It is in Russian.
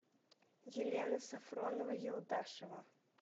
елена сафронова елдашева